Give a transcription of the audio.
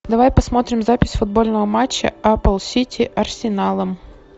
давай посмотрим запись футбольного матча апл сити арсеналом